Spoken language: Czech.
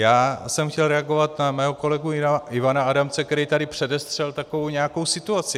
Já jsem chtěl reagovat na svého kolegu Ivana Adamce, který tady předestřel takovou nějakou situaci.